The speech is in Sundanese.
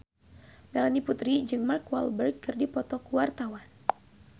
Melanie Putri jeung Mark Walberg keur dipoto ku wartawan